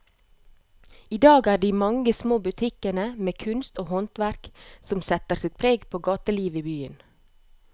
I dag er det de mange små butikkene med kunst og håndverk som setter sitt preg på gatelivet i byen.